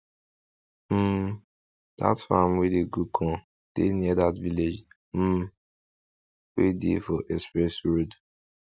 um dat farm wey dey grow corn dey near that village um wey dey for express road